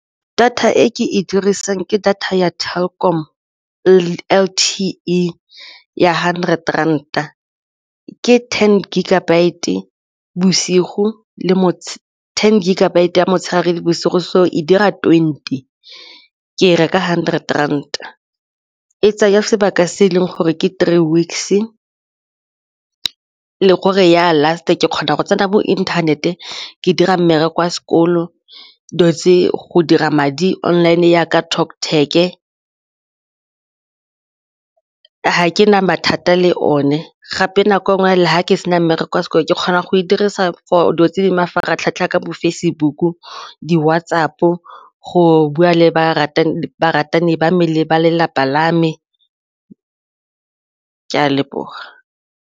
Data e ke e dirisang ke data ya Telkom L_T_E ya hundred rand-a, ke ten gigabyte ya motshegare le bosigo so e dira twenty ke e reka hundred rand-a, e tsaya sebaka se e leng gore ke three weeks-e le gore e ya last ke kgona go tsena bo inthanete ke dira mmereko wa sekolo dilo tse go dira madi online jaaka Talktag, ga ke na mathata le one gape nako ngwe fela ga ke sena mmereko sekolo ke kgona go e dirisa for dilo tse di mafaratlhatlha ka bo Facebook-u, di-WhatsApp-o go bua le baratani ba lelapa la me, ke a leboga.